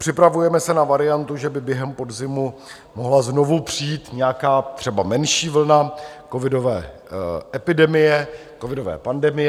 Připravujeme se na variantu, že by během podzimu mohla znovu přijít nějaká třeba menší vlna covidové epidemie, covidové pandemie.